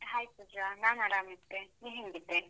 Hai Pooja, ನಾನ್ ಆರಂ ಇದ್ದೆ, ನೀನ್ ಹೇಂಗಿದ್ದೆ?